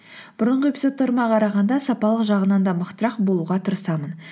бұрынғы эпизодтарыма қарағанда сапалық жағынан да мықтырақ болуға тырысамын